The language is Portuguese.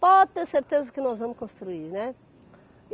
Pode ter certeza que nós vamos construir, né?